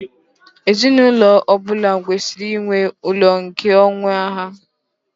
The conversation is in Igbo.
Ezinụlọ ọ bụla kwesịrị inwe ụlọ nke onwe ha.